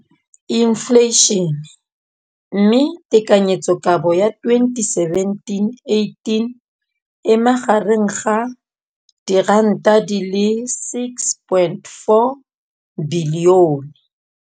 Infleišene, mme tekanyetsokabo ya 2017, 18, e magareng ga R6.4 bilione.